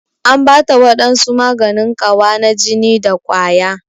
An Bata wadansu maganin Kawa na jini da kwaya.